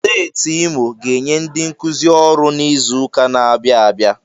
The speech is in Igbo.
Steeti Imo ga-enye ndi nkuzi ọrụ n'izuka na-abịa abịa.